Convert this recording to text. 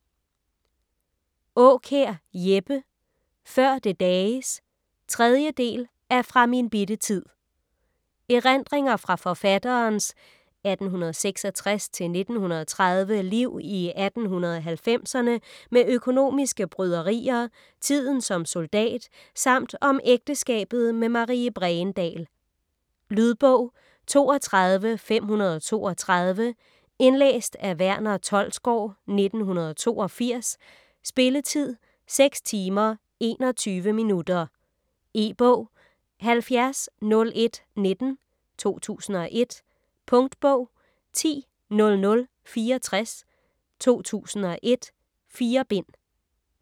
Aakjær, Jeppe: Før det dages 3. del af Fra min bitte tid. Erindringer fra forfatterens (1866-1930) liv i 1890'erne med økonomiske bryderier, tiden som soldat samt om ægteskabet med Marie Bregendahl. Lydbog 32532 Indlæst af Verner Tholsgaard, 1982. Spilletid: 6 timer, 21 minutter. E-bog 700119 2001. Punktbog 100064 2001. 4 bind.